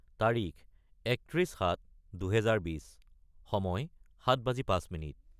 তাৰিখ 31-07-2020 : সময় 0705